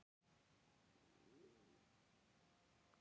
Flugi verði aflýst